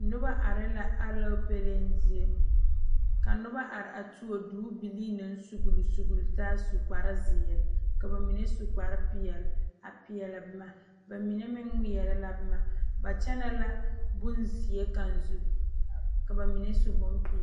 Noba are la alɔɔpele zie, ka noba are a tuo tuo duubilii naŋ sugeli sugeli taa su kparre zeɛre, ka ba mine su kparre. pɛɛle a peɛle boma ba mine meŋ ŋmeɛre la boma ba kyɛne la bonzeɛ kaŋa zu ka ba mine su bon pɛɛle.